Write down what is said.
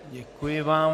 Děkuji vám.